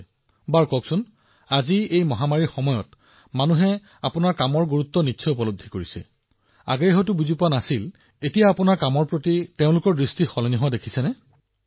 আচ্ছা মোক এইটো কওক আজি যেতিয়া মানুহে এই মহামাৰীৰ সময়ত আপোনাৰ কামৰ গুৰুত্ব লক্ষ্য কৰি আছে যিটো আগতে ইমান বুজি পোৱা নাছিল এতিয়া তেওঁলোকে বুজি পাইছে আপোনালোকৰ প্ৰতি তেওঁলোকৰ মনোভাৱ সলনি হৈছে নেকি